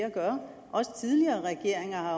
at gøre også tidligere regeringer har